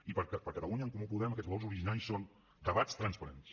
i per catalunya en comú podem aquests valors originaris són debats transparents